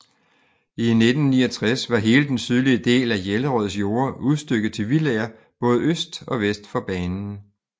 I 1969 var hele den sydvestlige del af Jellerøds jorder udstykket til villaer både øst og vest for banen